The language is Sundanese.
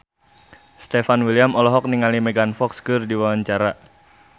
Stefan William olohok ningali Megan Fox keur diwawancara